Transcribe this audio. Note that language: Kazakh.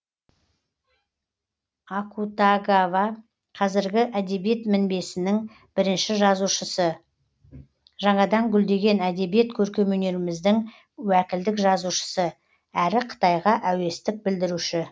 акутагава қазіргі әдебиет мінбесінің бірінші жазушысы жаңадан гүлдеген әдебиет көркемөнеріміздің уәкілдік жазушысы әрі қытайға әуестік білдіруші